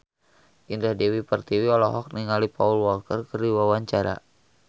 Indah Dewi Pertiwi olohok ningali Paul Walker keur diwawancara